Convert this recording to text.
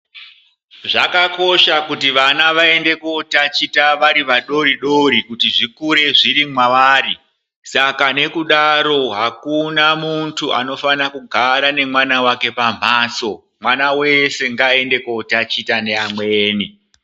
Zvakakosha kuti vana vaende kotaticha vari vadoridori kuti zvikure zviri mwavari saka nekudaro hakuna muntu anofana kugara nemwana wake pambatso mwana wese ngaaende kotaticha neamweni.